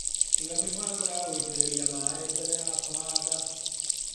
Iga mĩbango ya gũitĩrĩria maĩ mbere ya kũhanda.